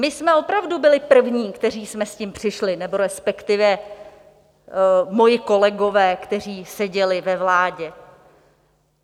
My jsme opravdu byli první, kteří jsme s tím přišli, nebo respektive moji kolegové, kteří seděli ve vládě.